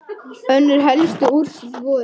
Önnur helstu úrslit voru